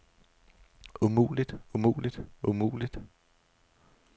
umuligt umuligt umuligt